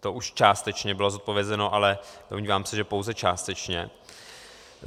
To už částečně bylo zodpovězeno, ale domnívám se, že pouze částečně.